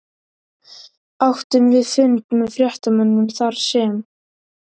Áttum við fund með fréttamönnum þarsem